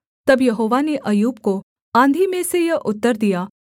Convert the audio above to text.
तब यहोवा ने अय्यूब को आँधी में से यह उत्तर दिया